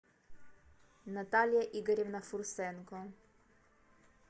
наталья игоревна фурсенко